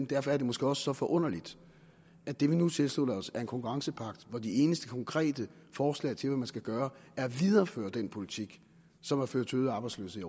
derfor er det måske også så forunderligt at det vi nu tilslutter os er en konkurrencepagt hvor de eneste konkrete forslag til hvad man skal gøre er at videreføre den politik som har ført til øget arbejdsløshed